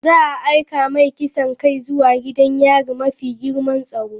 Za a aika mai kisan kai zuwa gidan yari mafi girman tsaro.